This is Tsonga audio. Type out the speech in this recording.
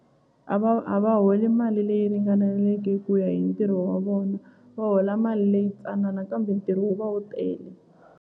A va a va holi mali leyi ringaneleke ku ya hi ntirho wa vona va hola mali leyi tsanana kambe ntirho wu va wu tele.